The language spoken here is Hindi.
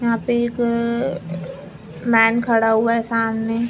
यहाँ पे एक मैन खड़ा हुआ है सामने --